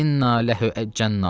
İnna ləhu əccənnat.